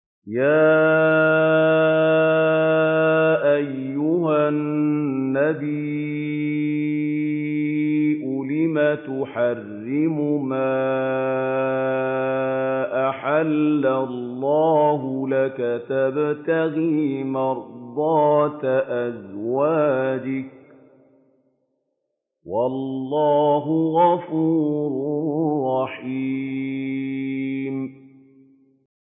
يَا أَيُّهَا النَّبِيُّ لِمَ تُحَرِّمُ مَا أَحَلَّ اللَّهُ لَكَ ۖ تَبْتَغِي مَرْضَاتَ أَزْوَاجِكَ ۚ وَاللَّهُ غَفُورٌ رَّحِيمٌ